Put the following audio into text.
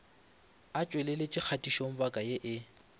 a tšweletše kgatišobaka ye e